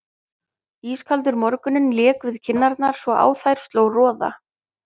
Ískaldur morgunninn lék við kinnarnar svo á þær sló roða.